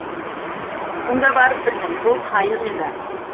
сонда барып білдім бұл қайық еді